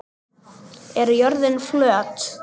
Er jörðin flöt?